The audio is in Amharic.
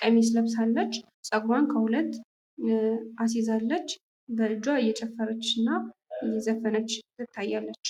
ቀሚስ ለብሳለች ፤ ጸጉሩዋን ከሁለት አሲዛለች ፤ በ እጁዋ እየዘፈነች እና እየጨፈረች ትታያለች።